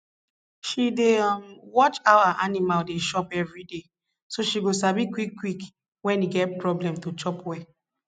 she dey um watch how her animal dey chop everyday so she go sabi quick quick wen e get problem to chop well